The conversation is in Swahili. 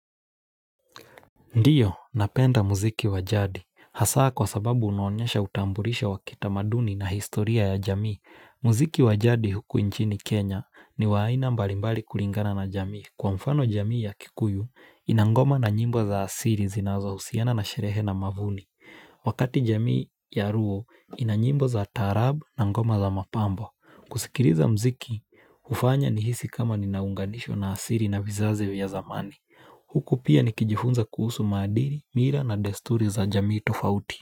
Ndiyo, napenda muziki wajadi. Haaa kwa sababu unaonyesha utambulisho wa kitamaduni na historia ya jamii. Muziki wajadi huku nchini Kenya, ni waaina mbalimbali kulingana na jamii. Kwa mfano, jamii ya kikuyu, inangoma na nyimbo za siri zinazohusiana na sherehe na mavuni. Wakati jamii ya luo, ina nyimbo za taarab na ngoma za mapambo. Kusikiliza muziki, hufanya nihisi kama ninaunganishwa na siri na vizazi vya zamani. Huku pia nikijifunza kuhusu madili, mila na desturi za jamii tofauti.